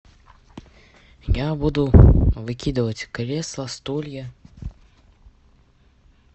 я буду выкидывать кресла стулья